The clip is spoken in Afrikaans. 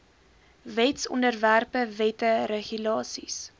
wetsontwerpe wette regulasies